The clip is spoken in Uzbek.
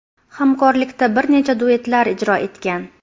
Hamkorlikda bir necha duetlar ijro etgan.